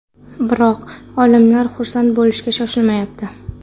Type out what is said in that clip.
Biroq olimlar xursand bo‘lishga shoshilmayapti.